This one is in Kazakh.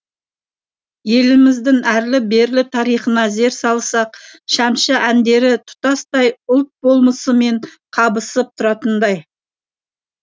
еліміздің әрлі берлі тарихына зер салсақ шәмші әндері тұтастай ұлт болмысымен қабысып тұратындай